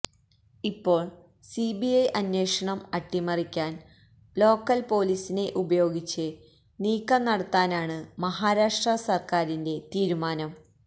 ഇപ്പോള് സിബിഐ അന്വേഷണം അട്ടിമറിയ്ക്കാന് ലോക്കല് പൊലീസിനെ ഉപയോഗിച്ച് നീക്കം നടത്താനാണ് മഹാരാഷ്ട്ര സര്ക്കാരിന്റെ തീരുമാനം